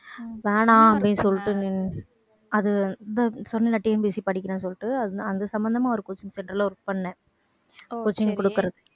வேணாம் அப்படின்னு சொல்லிட்டு நின்~ அது சொன்னேன்ல TNPSC படிக்கிறேன்னு சொல்லிட்டு அது அது சம்பந்தமா ஒரு coaching centre ல work பண்ணேன். coaching கொடுக்குறதுக்கு.